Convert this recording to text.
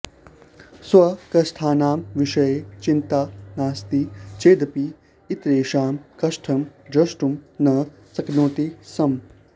स्वकष्टानां विषये चिन्ता नास्ति चेदपि इतरेषां कष्टं द्रष्टुं न शक्नोति स्म